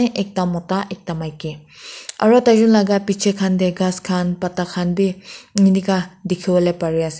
Ekta mota ekta maiki aro taijun laga bechi khan dae ghas khan pata khan bhi enika dekhivole pare ase.